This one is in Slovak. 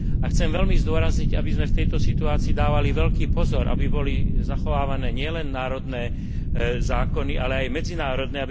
A chcem veľmi zdôrazniť, aby sme v tejto situácii dávali veľký pozor, aby boli zachovávané nielen národné zákony, ale aj medzinárodné.